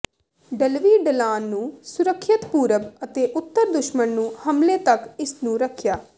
ਢਲਵੀ ਢਲਾਨ ਨੂੰ ਸੁਰੱਖਿਅਤ ਪੂਰਬ ਅਤੇ ਉੱਤਰ ਦੁਸ਼ਮਣ ਨੂੰ ਹਮਲੇ ਤੱਕ ਇਸ ਨੂੰ ਰੱਖਿਆ